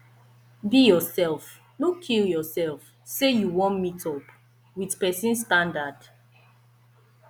be yourself no kill yourself say you won meet up with persin standard